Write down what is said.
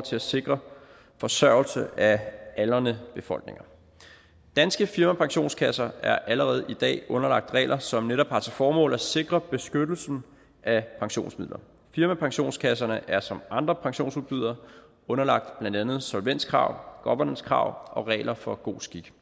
til at sikre forsørgelsen af aldrende befolkninger danske firmapensionskasser er allerede i dag underlagt regler som netop har til formål at sikre beskyttelsen af pensionsmidler firmapensionskasserne er som andre pensionsudbydere underlagt blandt andet solvenskrav governancekrav og regler for god skik